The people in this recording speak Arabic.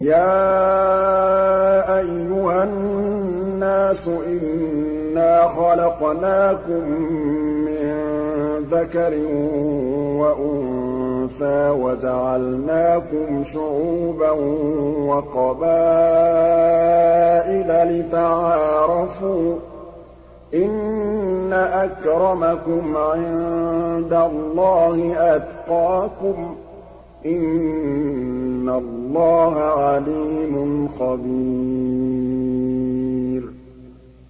يَا أَيُّهَا النَّاسُ إِنَّا خَلَقْنَاكُم مِّن ذَكَرٍ وَأُنثَىٰ وَجَعَلْنَاكُمْ شُعُوبًا وَقَبَائِلَ لِتَعَارَفُوا ۚ إِنَّ أَكْرَمَكُمْ عِندَ اللَّهِ أَتْقَاكُمْ ۚ إِنَّ اللَّهَ عَلِيمٌ خَبِيرٌ